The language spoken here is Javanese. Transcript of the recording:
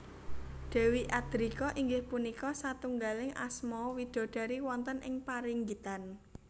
Dewi Adrika inggih punika satunggaling asma widodari wonten ing paringgitan